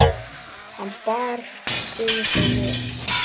Hann bar sig þó vel.